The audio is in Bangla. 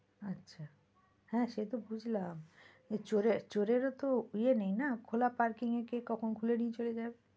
আচ্ছা, হ্যাঁ সে তো বুঝলাম যে চোরের চোরের ও তো ইয়ে নেই না, খোলা parking এ কে কখন খুলে নিয়ে চলে যাবে।